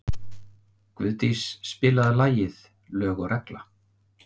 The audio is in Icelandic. Guðdís, spilaðu lagið „Lög og regla“.